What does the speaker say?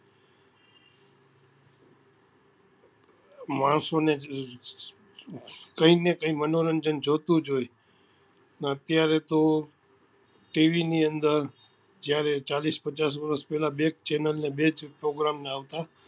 માણસો ને કઈ ને કઈ મનોરંજન જોઈતું જ હોય અત્યારે તો TV અંદર જ્યારે ચાલીસ પચાસ વર્ષ પહેલા બે જ channel ને બે જ program આવતા